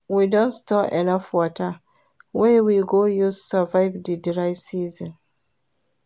We don store enough water wey we go use survive di dry season.